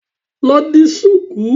Lọ di ṣùkú.